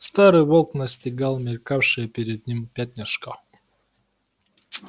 старый волк настигал мелькавшее перед ним пятнышко